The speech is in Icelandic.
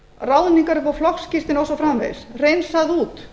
ráðningar upp á flokksskírteini og svo framvegis hreinsað út